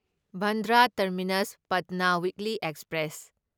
Bandra terminus Patna weekly express